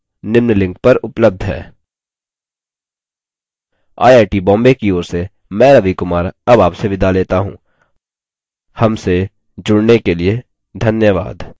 I I T Bombay की ओर से मैं रवि कुमार अब आपसे विदा लेता हूँ हमसे जुड़ने के लिए धन्यवाद